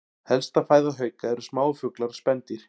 Helsta fæða hauka eru smáir fuglar og spendýr.